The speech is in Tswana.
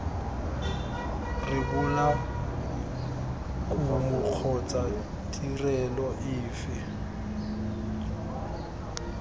rebola kumo kgotsa tirelo efe